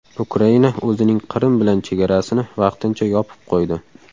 Ukraina o‘zining Qrim bilan chegarasini vaqtincha yopib qo‘ydi.